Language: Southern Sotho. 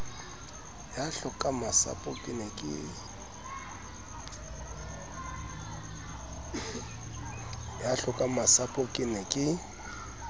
ya hlokangmasapo ke ne ke